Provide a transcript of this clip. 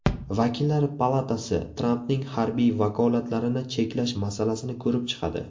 Vakillar palatasi Trampning harbiy vakolatlarini cheklash masalasini ko‘rib chiqadi.